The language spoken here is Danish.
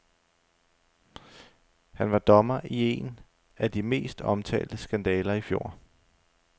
Han var dommer i en af de mest omtalte skandaler i fjor.